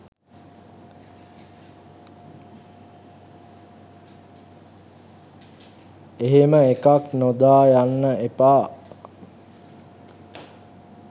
එහෙම එකක් නොදා යන්න එපා.